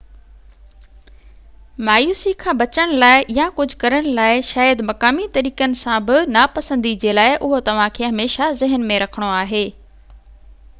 مايوسي کان بچڻ لاءِ يا ڪجهہ ڪرڻ لاءِ شايد مقامي طريقن سان بہ نا پسندي جي لاءِ اهو توهان کي هميشہ ذهن ۾ رکڻو آهي